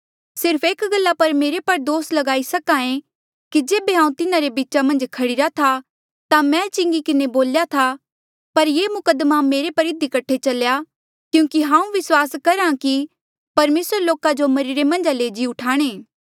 सिर्फ एक गल्ला पर मेरे पर दोस लगाई सके कि जेबे हांऊँ तिन्हारे बीचा मन्झ खड़ीरा था मैं चिंगी किन्हें बोल्या था पर ये मुकद्दमा मेरे पर इधी कठे चल्या करहा क्यूंकि हांऊँ विस्वास करहा की परमेसरा लोका जो मरिरे मन्झा ले जी उठाणे